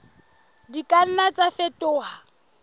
di ka nna tsa fetoha